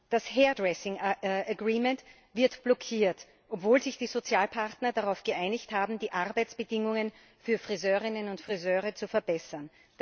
Das Hairdressing Agreement wird blockiert, obwohl sich die Sozialpartner darauf geeinigt haben, die Arbeitsbedingungen für Friseurinnen und Friseure zu verbessern.